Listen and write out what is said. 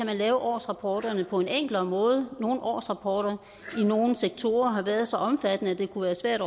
kan lave årsrapporterne på en enklere måde nogle årsrapporter i nogle sektorer har været så omfattende at det kunne være svært